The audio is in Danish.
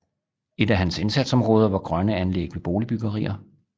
Et af hans indsatsområder var grønne anlæg ved boligbyggerier